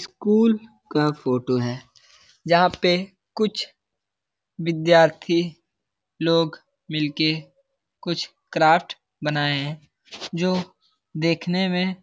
School का photo है। जहां पे कुछ विद्यार्थी लोग मिल के कुछ क्राफ्ट बनाये हैं जो देखने में